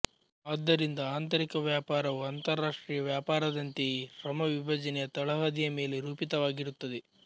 ಆದ್ದರಿಂದ ಆಂತರಿಕ ವ್ಯಾಪಾರವೂ ಅಂತರರಾಷ್ಟ್ರೀಯ ವ್ಯಾಪಾರದಂತೆಯೇ ಶ್ರಮ ವಿಭಜನೆಯ ತಳಹದಿಯ ಮೇಲೆ ರೂಪಿತವಾಗಿರುತ್ತದೆ